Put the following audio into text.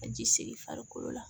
Ka ji segin farikolo la